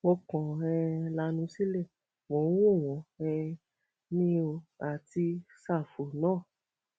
mo kàn um lanu sílé mò ń wò wọn um ni o àti sáfù náà